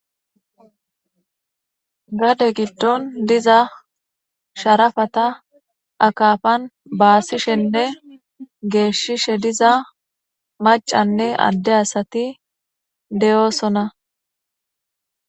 Gade giddon diza sharafata akafan baasishenne geeshshishe diza macanne adde asati deyoosona.